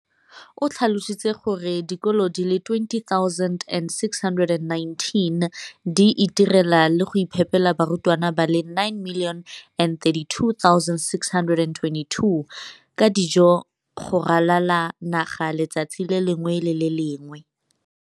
O tlhalositse gore dikolo di le 20 619 di itirela le go iphepela barutwana ba le 9 032 622 ka dijo go ralala naga letsatsi le lengwe le le lengwe.